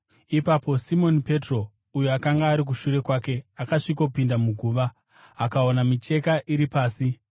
Ipapo Simoni Petro, uyo akanga ari shure kwake, akasvikopinda muguva. Akaona micheka iri pasi,